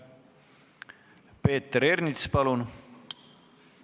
Peeter Ernits, palun!